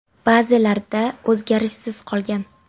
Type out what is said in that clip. Ba’zilarida o‘zgarishsiz qolgan.